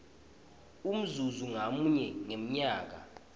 umzuzi ngamunye ngemnyaka